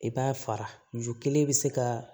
I b'a fara ju kelen bɛ se ka